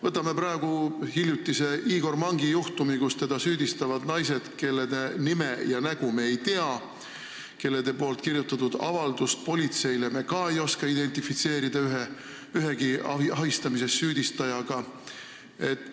Võtame praegu hiljutise Igor Mangi juhtumi, kus teda süüdistavad naised, kelle nime ega nägu me ei tea, kelle kirjutatud avaldusi politseile me ka ühegi ahistamises süüdistajaga identifitseerida ei oska.